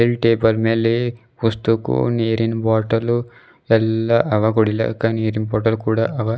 ಈ ಟೇಬಲ್ ಮೇಲೆ ವಸ್ತುಕು ನೀರಿನ ಬಾಟಲು ಎಲ್ಲಾ ಅವ ಗೋಳೆಂದು ನೀರಿನ್ ಬಾಟಲು ಕೂಡ ಅವ.